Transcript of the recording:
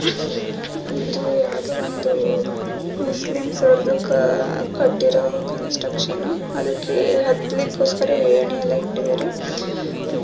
ಇದು ಯಾವುದೋ ಒಂದು ಮುಸ್ಲಿಮ್ಸ್ ಅವರ್ದು ಕಟ್ಟಿರೋ ಕನ್ಸ್ಟ್ರಕ್ಷನು . ಅದಕ್ಕೆ ಹತ್ತಲಿಕಿಕೊಸ್ಕರ ಏನಿ ಎಲ್ಲ ಇಟ್ಟಿದ್ದಾರೆ.